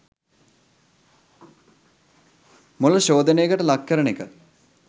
මොළ ශෝධනයකට ලක් කරන එක